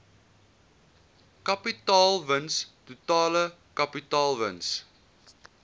kapitaalwins totale kapitaalwins